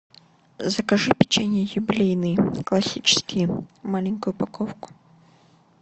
закажи печенье юбилейные классические маленькую упаковку